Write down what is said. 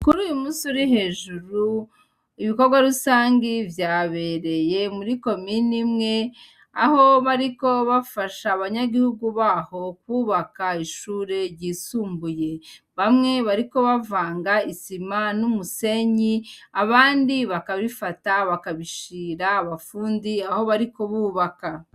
Kuruyu musi ur hejuru, ibikorwa rusangi vyabereye muri komine imwe aho bariko bafasha aba nyagihugu baho kwubaka ishure ry'isumbuye. Bamwe bariko bavanga isima n'umusenyi, abandi bakabifata bakabishira abafundi aho bariko bubaka.